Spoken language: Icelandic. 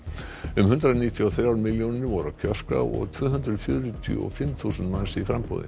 um hundrað níutíu og þrjár milljónir voru á kjörskrá og tvö hundruð fjörutíu og fimm þúsund manns í framboði